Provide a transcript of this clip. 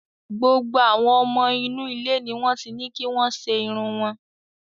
Gbogbo àwọn ọmọ inú ilé ni wọ́n ti ní kí wọ́n ṣe irun wọn.